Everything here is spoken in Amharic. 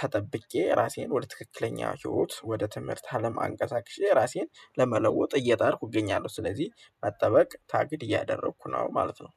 ተጠብቄ ራሴን ወደ ትክክለኛ ህይወት ወደ ትምህርት አለም አንቀሳቅሼ ራሴን ለመለወጥ እየጣርኩ እገኛለሁ ስለዚህ መጠበቅ ታግድ እያደረኩ ነው ማለት ነው።